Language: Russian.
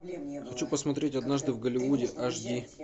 хочу посмотреть однажды в голливуде аш ди